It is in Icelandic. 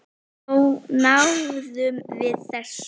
Þá náðum við þessu.